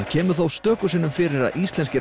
kemur þó stöku sinnum fyrir að íslensku